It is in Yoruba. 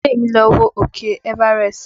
Bidemi lọ wo òkè Everest